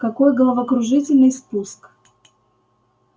какой головокружительный спуск